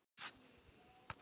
Mikið sem ég sakna hans.